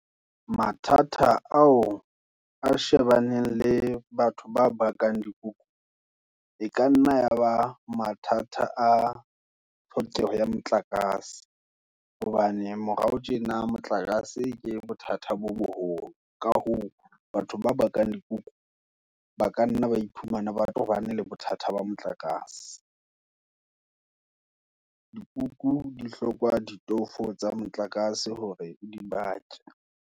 Mathata ao, a shebaneng le batho ba bakang dikuku, e ka nna yaba mathata, a tlhokeho ya motlakase, hobane morao tjena, motlakase ke bothata bo boholo. Ka hoo, batho ba bakang dikuku, ba ka nna ba iphumana, ba tobane le bothata ba motlakase. Dikuku di hlokwa ditofo tsa motlakase, hore di bake.